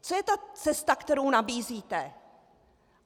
Co je ta cesta, kterou nabízíte?